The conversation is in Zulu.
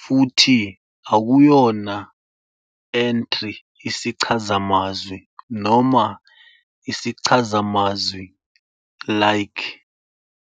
futhi akuyona entry isichazamazwi noma isichazamazwi-like.